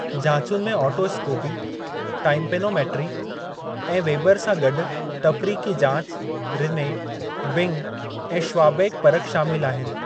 जांचुनि में otoscopy, tympanometry ऐं Weber सां गडु॒ तफ़रीक़ी जांचु, रिने, बिंग ऐं श्वाबैक परखि शामिलु आहिनि।